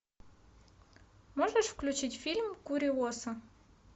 можешь включить фильм куриоса